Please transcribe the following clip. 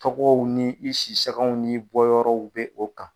Tɔgɔw ni i sisaw ni bɔ yɔrɔw bɛ o kan.